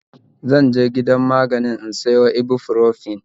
Zanje gidan magani in siya ibuprofen